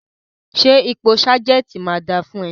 Ṣẹ́ ipò sergeant máa dà fún ẹ?